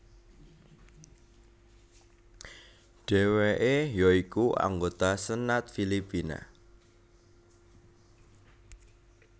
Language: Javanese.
Dheweke ya iku anggota Senat Filipina